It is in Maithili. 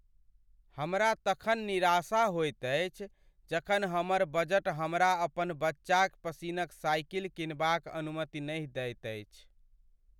हमरा तखन निराशा होएत अछि जखन हमर बजट हमरा अपन बच्चाक पसिन्नक साइकिल किनबाक अनुमति नहि दैत अछि।